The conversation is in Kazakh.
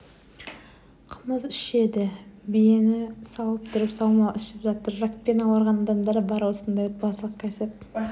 қымыз ішеді биені сауып тұрып саумал ішіп жатыр ракпен ауырған адамдар бар осындай отбасылық кәсіп